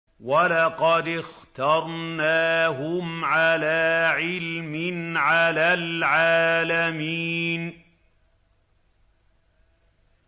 وَلَقَدِ اخْتَرْنَاهُمْ عَلَىٰ عِلْمٍ عَلَى الْعَالَمِينَ